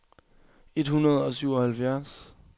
et hundrede og syvoghalvfjerds